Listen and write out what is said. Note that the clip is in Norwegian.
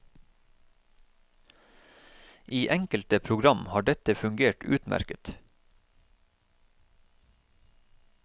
I enkelte program har dette fungert utmerket.